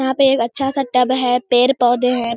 यहा पे एक अच्छा सा टब हैपेड़-पोधे है --